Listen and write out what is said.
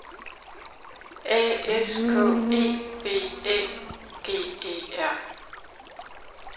A S K E B Æ G E R